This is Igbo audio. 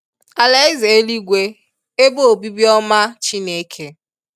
Alaeze eluigwe ebe obibi oma Chineke